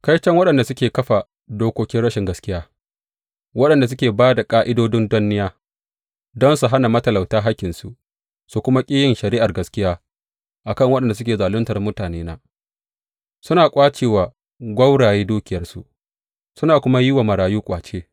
Kaiton waɗanda suke kafa dokokin rashin gaskiya, waɗanda suke ba da ƙa’idodin danniya, don su hana matalauta hakkinsu su kuma ƙi yin shari’ar gaskiya a kan waɗanda suke zaluntar mutanena, suna ƙwace wa gwauraye dukiyarsu suna kuma yi wa marayu ƙwace.